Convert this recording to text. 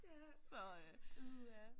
Ja uha